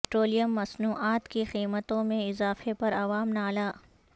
petroleum مصنوعات کی قیمتوں میں اضافے پر عوام نالاں